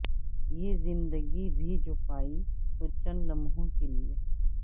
یہ زندگی بھی جو پائی تو چند لمحوں کی